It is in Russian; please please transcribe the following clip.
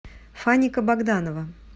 фаника богданова